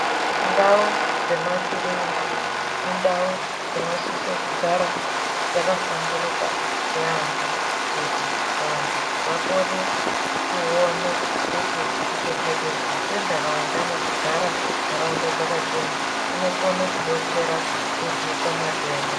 Ndau dzemakirinika indau dzinosise kugara dzakahlamburuka yaambo. Kuti vantu vakone kuone kuti kuchengetedzwa kwentaraunda nekugara ntaraunda dzakachena, kunokone kubetsera kurwisa matenda.